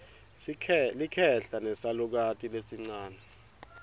likhehla nesalukati lesincane